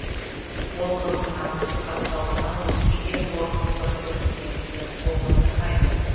ол қыздың намысы тапталды ма өзге де қорлықты көрді ме бізді толғандырмайды